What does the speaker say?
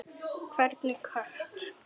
Hvernig kött?